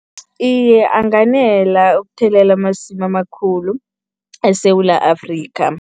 Iye, anganela ukuthelela amasimu amakhulu eSewula Afrika.